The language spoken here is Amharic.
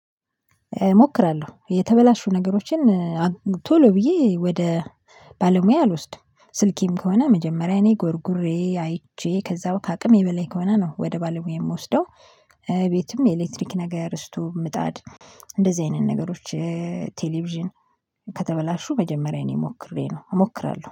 እሞክራለሁ የተበላሹ ነገሮችን ቶሎ ብዬ ወደ ባለሙያ አልወስድም ስልኬም ከሆነ መጀመሪያ እኔ ጎርጉሬ አይቼ ከዛው ከአቅሜ በላይ ከሆነ ነው ወደ ባለሙያ የምወስደው። ቤትም የኤሌክትሪክ ነገር ድስቱ ምጣድ እንደዚህ አይነት ነገሮች። ቴሌቪዥን። ከተበላሹ መጀመሪያ እኔ ሞክሬ ነው እሞክራለሁ